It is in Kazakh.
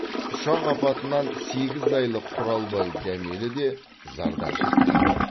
ұшақ апатынан сегіз айлық құралбай дәмелі де зардап шекті